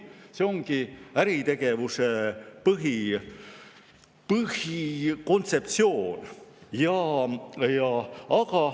See ongi äritegevuse põhikontseptsioon.